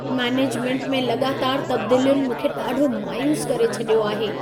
Management में लॻातार तबदीलियुनि मूंखे ॾाढो मायूस करे छॾियो आहे।